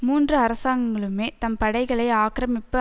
மூன்று அரசாங்கங்களுமே தம் படைகளை ஆக்கிரமிப்பு